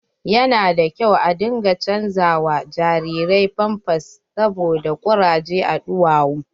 Yana da kyau a dinga chanza wa jariri pampas saboda kuraje a duwawu.